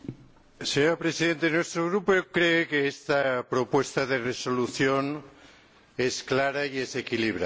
Señora Presidenta, nuestro Grupo cree que esta propuesta de resolución es clara y es equilibrada.